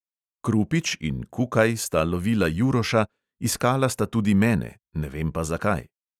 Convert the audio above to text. Krupič in kukaj sta lovila juroša, iskala sta tudi mene, ne vem pa, zakaj.